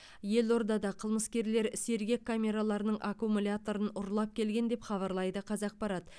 елордада қылмыскерлер сергек камераларының аккумуляторын ұрлап келген деп хабарлайды қазақпарат